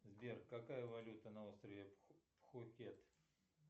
сбер какая валюта на острове пхукет